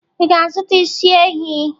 Ị ga-azụta isi ehi?